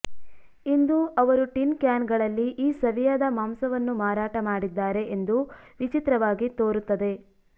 ಇಂದು ಅವರು ಟಿನ್ ಕ್ಯಾನ್ಗಳಲ್ಲಿ ಈ ಸವಿಯಾದ ಮಾಂಸವನ್ನು ಮಾರಾಟ ಮಾಡಿದ್ದಾರೆ ಎಂದು ವಿಚಿತ್ರವಾಗಿ ತೋರುತ್ತದೆ